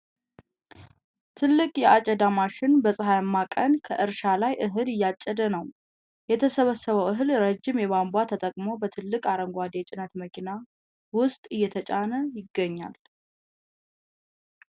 ትልቅ የአጨዳ ማሽን በፀሐያማ ቀን ከእርሻ ላይ እህል እያጨደ ነው። የተሰበሰበው እህል ረዥም ቧንቧ ተጠቅሞ በትልቅ አረንጓዴ የጭነት መኪና ውስጥ እየተጫነ ይገኛል።